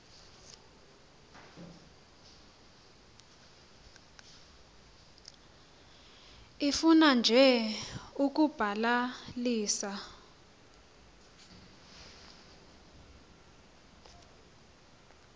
ifuna nje ukubalalisa